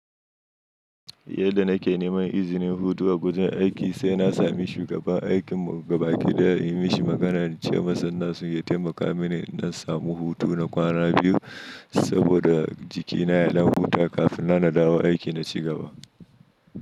Yadda na ke neman izinin hutu a gurin aiki sai na sami shugaban aikin mu gaba ki ɗaya inyi mishi magana ce masa na sun ya taimaka mini in ɗan samu hutu na kwana biyu saboda jikina ya ɗan huta kafin nan nadawo aiki na ci gaba.